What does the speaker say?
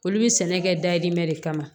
Olu bɛ sɛnɛ kɛ dayirimɛ de kama